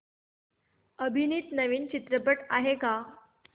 अभिनीत नवीन चित्रपट आहे का